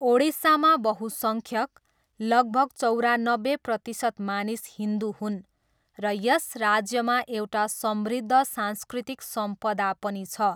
ओडिसामा बहुसङ्ख्यक, लगभग चौरानब्बे प्रतिशत मानिस हिन्दु हुन् र यस राज्यमा एउटा समृद्ध सांस्कृतिक सम्पदा पनि छ।